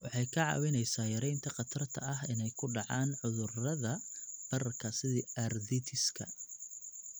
Waxay kaa caawinaysaa yaraynta khatarta ah inay ku dhacaan cudurrada bararka sida arthritis-ka.